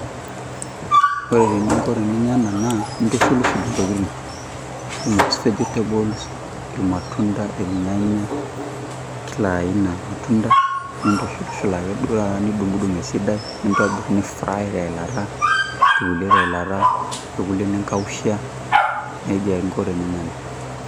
Ore eniko teninya ena naa ntushulushul tokitin kumok vegetable irmatunda irnyanya kila aina matunda nitushulushul ake duo nidungdung esidai nitobir nifry teilata kulie teilata kulie nikausha nejia nko teninya ena.